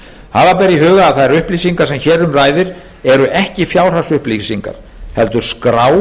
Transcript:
hafa ber í huga að þær upplýsingar sem hér um ræðir eru ekki fjárhagsupplýsingar heldur skrá